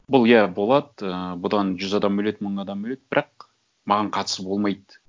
бұл иә болады ы бұдан жүз адам өледі мың адам өледі бірақ маған қатысы болмайды